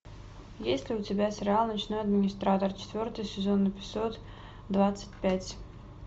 есть ли у тебя сериал ночной администратор четвертый сезон эпизод двадцать пять